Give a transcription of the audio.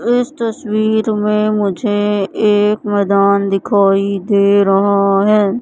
इस तस्वीर में मुझे एक मैदान दिखाई दे रहा है।